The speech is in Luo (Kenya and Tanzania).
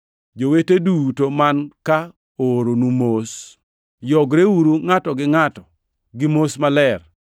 Jowete duto man ka ooronu mos. Yogreuru ngʼato gi ngʼato gi mos maler.